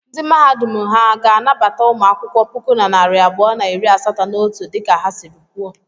Ndị Mahadum ahụ ha ga-anabata ụmụ akwụkwọ puku na narị abụọ na iri asatọ na otu dịka ha sịrị kwuo?